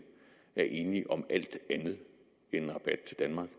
er enige om alt andet end en rabat til danmark